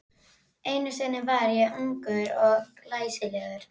Einu sinni var ég ungur og glæsilegur.